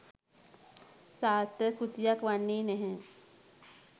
සාර්ථක කෘතියක් වන්නේ නැහැ.